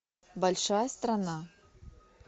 большая страна